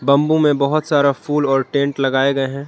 Bamboo में बहुत सारा फूल और टेंट लगाए गए हैं।